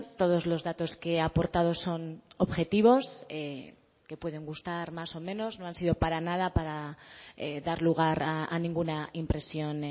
todos los datos que he aportado son objetivos que pueden gustar más o menos no han sido para nada para dar lugar a ninguna impresión